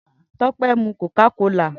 Tope n mú kókàkólá